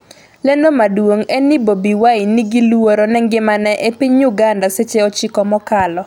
lendo maduong' en ni Bobi Wine 'ni gi luoro ne ngimane' e piny Uganda seche 9 mokalo